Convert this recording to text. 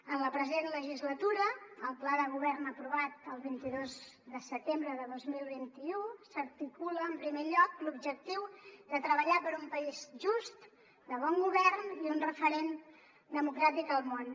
en la present legislatura al pla de govern aprovat el vint dos de setembre de dos mil vint u s’articula en primer lloc l’objectiu de treballar per un país just de bon govern i un referent democràtic al món